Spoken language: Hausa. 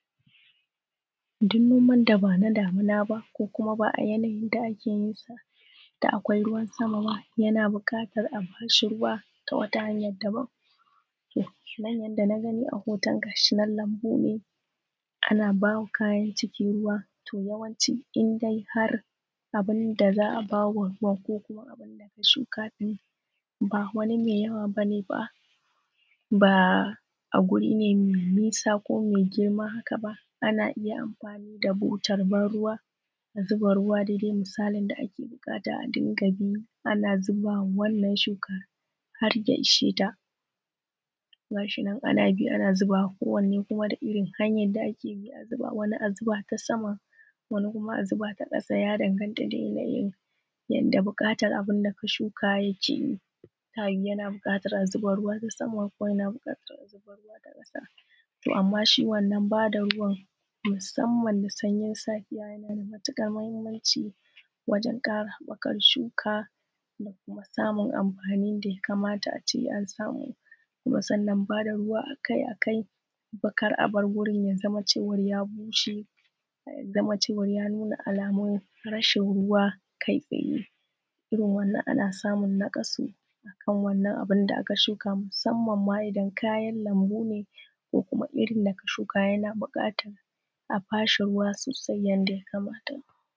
Duk noman da ba na damina ba ko ba a yanayin da ake yinsa da akwai ruwan sama ba, yana bukatar a ba shi ruwa ta wata hanyar daban. Nan kamar yadda na gani a hoton lambu ne ana ba kayan ciki ruwa, indai har abun da za a ba wa ruwan ko kuma abun da aka shuka ba wani mai yawa ba ne ba. Ba a guri ne mai nisa ko mai girma haka ba, ana iya amfani da butar ban ruwa a zuba ruwa daidai misalin da ake buƙata ana zubawa wannan shuka har ya ishe ta. Ga shi nan ana bi ana zubawa kowanne da hanyar da ake bi. Wani a zuba ta sama wani kuma a zuba ta ƙasa ya danganta da yanayin bukatar abu da ka shuka yake yi, yana buƙatar a zuba ruwa ta sama ko ta ƙasa. To amma shi wannan ba da ruwan musamma da sanyi safiya yana da matuƙar mahimmanci wajen kara haɓakar shuka da kuma samun amfani da ya kamata a ce an samu. Kuma sann ba da ruwa akai akai kai a bar wurin ya zama cewar ya bushe ya zama cewar ya nuna alamun tmrashin ruwa kai tsaye, irin wannan ana samun naƙasa a kan wannan abun da aka shuka. Musamma ma idan kayan lambu ne ko kuma irin da ka shuka a ba shi ruwa sosai yadda ya kamata